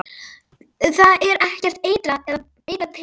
Það er ekki eitrað peð?